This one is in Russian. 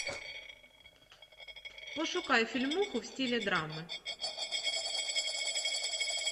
пошукай фильмуху в стиле драмы